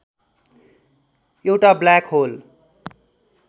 एउटा black whole